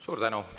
Suur tänu!